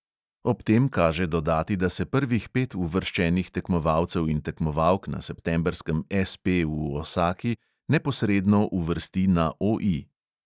Ob tem kaže dodati, da se prvih pet uvrščenih tekmovalcev in tekmovalk na septembrskem SP v osaki neposredno uvrsti na OI.